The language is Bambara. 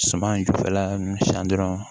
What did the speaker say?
Suman jufɛla ninnu siyɛn dɔrɔn